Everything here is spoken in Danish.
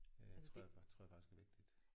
Øh tror jeg faktisk tror jeg faktisk er vigtigt